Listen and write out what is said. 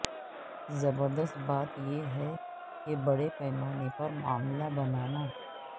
زبردست بات یہ ہے کہ بڑے پیمانے پر معاملہ بنانا